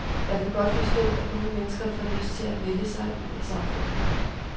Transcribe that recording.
Jeg kan godt forstå, at nogle mennesker får lyst til at melde sig ud af samfundet.